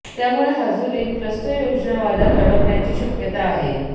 त्यामुळे हाजुरीत क्लस्टर योजना वादात अडकण्याची शक्यता आहे